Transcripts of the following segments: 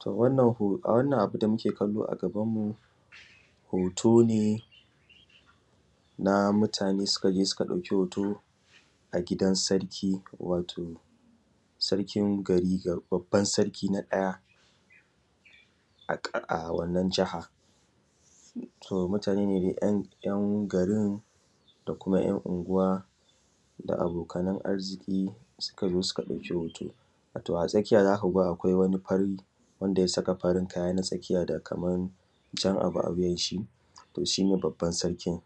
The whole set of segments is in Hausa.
To wannan a wannan abu da muke kallo a gabanmu hoto ne na mutane sukaje suka ɗauki hoto a gidan sarki, wato sarkin gari babban sarki na ɗaya a wannan jiha. To mutane ne ‘yan garin da kuma ‘yan unguwa da abokanan arziƙi sukazo suka ɗauki hoto. A tsakiya zakuga wani fari wanda ya saka farin kaya ta tsakiya da kaman jar abu a wuyanshi toh shine babban sarkin.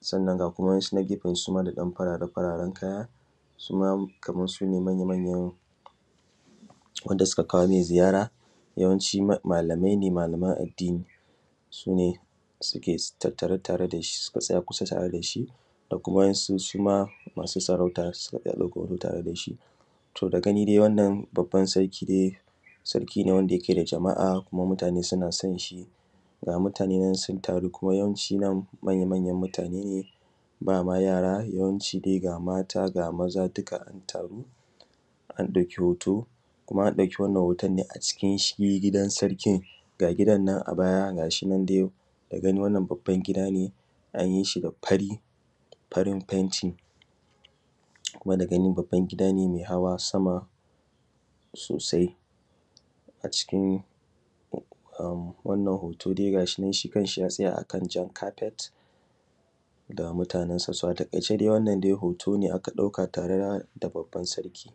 Sannan ga kuma wasu na gefe su ma da ɗan farare-fararen kaya suma Kaman sune manya manya wanda suka kawomai ziyara, yawanci malamai ne malaman addini sune suke tattare tare dashi suke tare dashi suka tsaya kusa tare dashi akwai waƴansu suma masu sarauta suma sun tsaya kusa tare dashi. To dagani dai wannan babban sarki ne, sarki ne wanda yake da jama’a kuma mutane suna sonshi ga mutane nan sun taru kuma yawanci manya manyan mutane ne ba ma yara yawanci dai ga mata, ga maza duka ana tare. An ɗauki hoto kuma an ɗauki wannan hotonne a cikin shi gidan sarkin ga gidannan a baya ga shi nan dai daga gani wannan babban gida ne an yishi da fari da farin fenti kuma da gani gida ne mai hawa sama sosai a cikin wannan hoto dai gashinan shi kanshi ya tsaya a kan jan kafet ga mutanen sa. So a taƙaice dai hoto ne aka ɗauka tare da babban sarki.